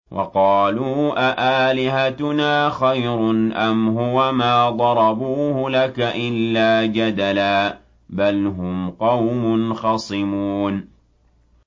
وَقَالُوا أَآلِهَتُنَا خَيْرٌ أَمْ هُوَ ۚ مَا ضَرَبُوهُ لَكَ إِلَّا جَدَلًا ۚ بَلْ هُمْ قَوْمٌ خَصِمُونَ